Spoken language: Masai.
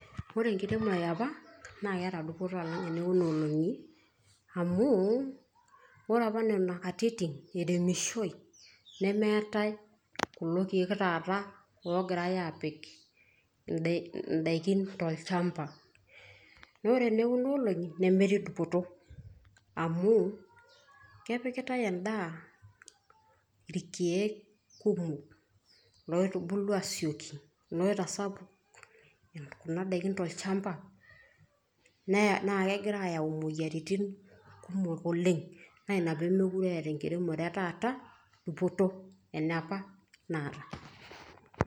Ore enkiremore eapa, na keeta dupoto alang' enekunoolong'i. Amu, ore apa nena katitin eiremishoi, nemeetae kulo keek taata ogirai aapik indaikin tolchamba. Ore enekunoolong'i, nemetii dupoto amu kepikitae endaa irkeek kumok. Loitubulu asieki, loitasapuk kuna daiki tolchamba, na kegira ayau imoyiaritin kumok oleng'. Na ina pemekure eata enkiremore etaata dupoto, eneepa naata.